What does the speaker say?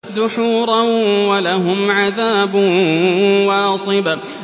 دُحُورًا ۖ وَلَهُمْ عَذَابٌ وَاصِبٌ